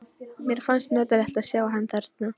Mér fannst notalegt að sjá hann þarna.